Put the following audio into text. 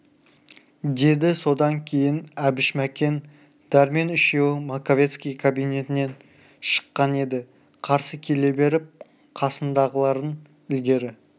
деді содан кейін әбіш мәкен дәрмен үшеуі маковецкий кабинетінен шыққан еді қарсы келе беріп қасындағыларын ілгері